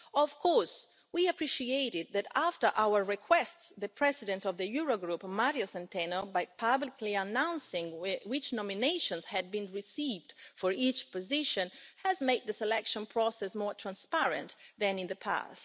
Of course, we appreciated that after our requests the President of the Eurogroup, Mário Centeno, by publicly announcing which nominations had been received for each position, has made the selection process more transparent than in the past.